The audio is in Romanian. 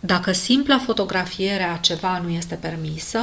dacă simpla fotografiere a ceva nu este permisă